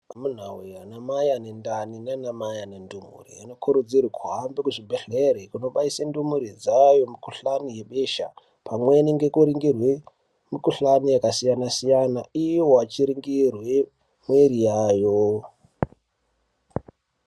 Mundaraunda ana mai ane mimba Nan mai ane ndumure anokurudzirwa kundobaisa ndumurwe dzayo mikuhlani webesha pamweni nekuningirwa mukuhlani wakasiyana siyana ivo vachiningirwa muviri wavo.